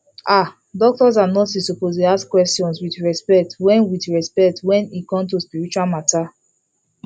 ah doctors and nurses suppose dey ask questions with respect wen with respect wen e come to spiritual matter